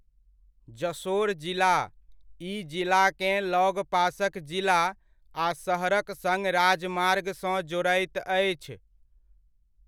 जशोर जिला ई जिलाकेँ लगपासक जिला आ शहरक सङ्ग राजमार्गसँ जोड़ैत अछि।